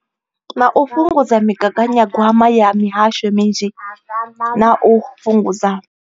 Nga u fhungudza migaganyagwama ya mihasho minzhi na u fhungudza.